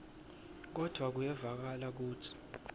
kodvwa kuyevakala kutsi